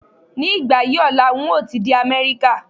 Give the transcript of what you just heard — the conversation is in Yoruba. Ní ìgbà yí ọ̀la ń o ti dé Amẹ́ríkà